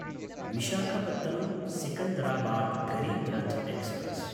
Visakhapatnam Secunderabad Garib Rath express